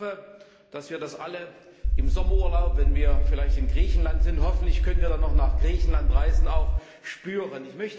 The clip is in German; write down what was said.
Ich hoffe, dass wir das alle im Sommerurlaub, wenn wir vielleicht in Griechenland sind hoffentlich können wir dann noch nach Griechenland reisen auch spüren.